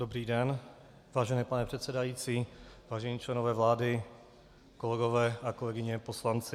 Dobrý den, vážený pane předsedající, vážení členové vlády, kolegyně a kolegové poslanci.